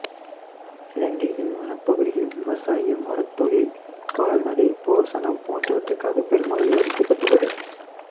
இலங்கையின் வனப்பகுதிகள் விவசாயம் மரத்தொழில் கால்நடை போசனம் போன்றவற்றுகாக பெருமளவில் அழிக்கப்பட்டுள்ளது